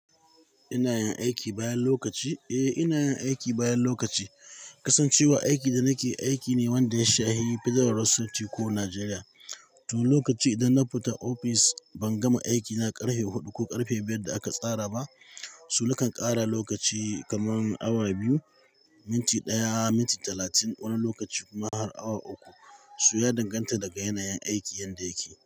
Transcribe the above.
Ina yin aiki bayan lokaci? Eh, ina yin aiki bayan lokaci. Kasancewa aikin da nake aiki ne wanda ya shafi Federal Road safety ko Nigeria. To lokaci idan na fita ofis ban gama aiki na ƙarfe huɗu ko ƙarfe biyar da aka tsara ba, su nakan ƙara lokaci kaman awa biyu, minti ɗaya, minti talatin wani lokaci kuma har awa uku. So ya danganta daga yanayin aikin yanda yake.